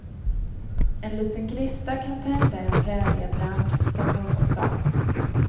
En liten gnista kan tända en präriebrand, som någon sa.